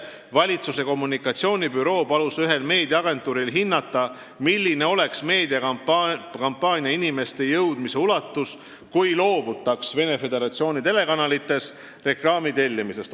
Valitsuse kommunikatsioonibüroo palus ühel meediaagentuuril hinnata, milline oleks meediakampaania inimesteni jõudmise ulatus, kui loobutaks reklaami tellimisest Venemaa Föderatsiooni telekanalites.